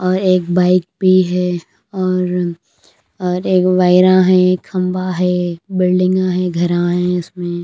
और एक बाइक भी है और और एक वायरा है एक खंभा है बिल्डिंगा है घरा है। इसमें--